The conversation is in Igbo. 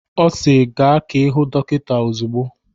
Ọ si "Gaa ka ị hụ dọkịta ozugbo""